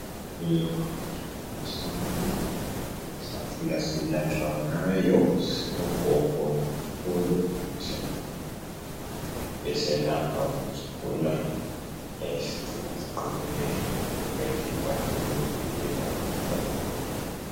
Kumele singakhohlwa imithi yesintu sakhula siyelatshwa ngayo ngabogogo labokhulu yayisigcina siqinile imizimba yethu ikwanisa ukuzivikela emikhuhlaneni eminengi.